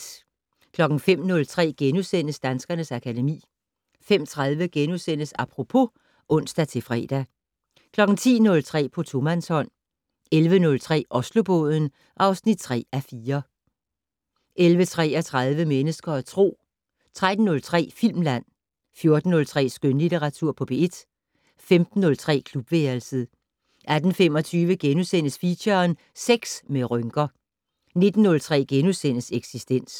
05:03: Danskernes akademi * 05:30: Apropos *(ons-fre) 10:03: På tomandshånd 11:03: Oslobåden (3:4) 11:33: Mennesker og Tro 13:03: Filmland 14:03: Skønlitteratur på P1 15:03: Klubværelset 18:25: Feature: Sex med rynker * 19:03: Eksistens *